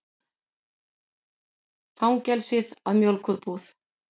Fangelsið að mjólkurbúð.